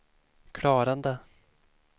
klarade